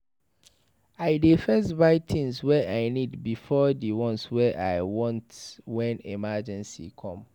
I dey first buy tins wey I need before di ones I want wen emergency com.